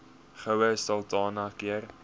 goue sultana keur